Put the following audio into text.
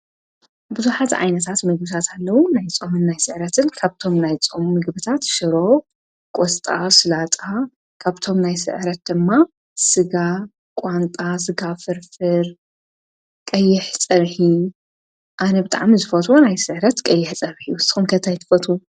ብዙኃዝ ኣይንሳት መጉሳታለዉ ናይ ጾምን ናይ ሥዕረትን ካብቶም ናይ ጾም ምግብታት ሽሮ ቖሥጣ ሥላጣ ካብቶም ናይ ሥዕረት ድማ ሥጋ ቛንጣ ሥጋ ፍርፍር ቀየኅ ጸርኂ ኣነ ብጣዕሚ ዝፈት ናይ ሥዕረት ቀየሕ ጸርሒ ሰንከት ኣይትፈቱ